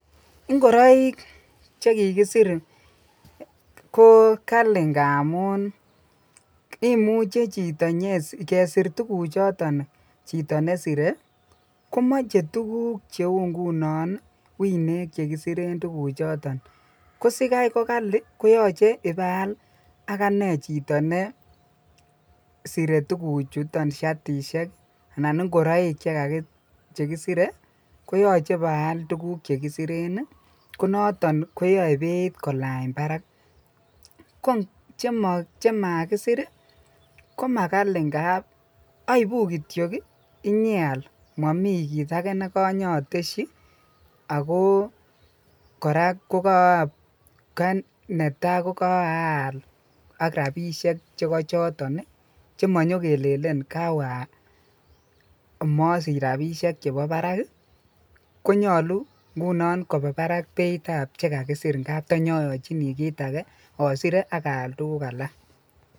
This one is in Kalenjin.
Ing'oroik chekikisir ko kali ng'amun imuche chito inyesr, kesir tukuchoton chito nesire komoche tukuk cheuu ng'unon wineek chekisiren tukuchoton, ko sikai ko kali koyoche ibaal akane chito nesire tukuchuton shatishek anan ing'oroik chekisire koyoche baal tukuk chekisiren konoton koyoe beit kolany barak, ko chemakisir ko makali ng'ab oibu kityok inyeal momii kiit akee nekonyoteshi akoo kora ko kanetaa ko kaal ak rabishek chekochoton chemonyo kelelen kawee amosich rabishek chebo barak konyolu ng'unon kobaa Barak ng'unon beitab chekakisir ng'ab tonyoyochini kiit akee osire ak aal tukuk alak.